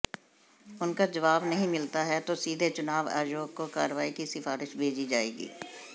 उनका जवाब नहीं मिलता है तो सीधे चुनाव आयोग को कार्रवाई की सिफारिश भेजी जाएगी